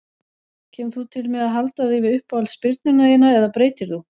Kemur þú til með að halda þig við uppáhalds spyrnuna þína eða breytir þú?